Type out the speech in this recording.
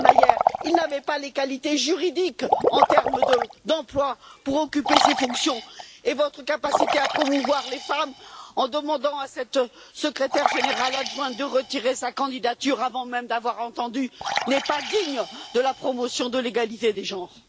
Selmayr, il n'avait pas les qualités juridiques en termes d'emploi pour occuper ces fonctions et votre capacité à promouvoir les femmes en demandant à cette secrétaire générale adjointe de retirer sa candidature, avant même de l'avoir entendue n'est pas digne de la promotion de l'égalité des genres.